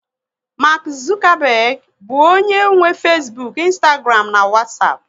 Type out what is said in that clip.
Mark Zuckerberg bụ onye nwe Fesbuk, ịnstagram na Wasapu